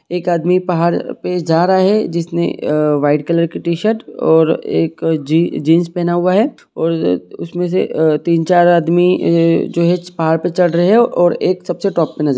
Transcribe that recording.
एक आदमी पहाड़ पे जा रहा है जिस ने वाईट कलर की टीशर्ट और एक जीन्स पहना हुआ है और उस मे से तीन चार आदमी जो है पहाड़ पे चड़ रहे है और एक सब से टॉप पे नजर--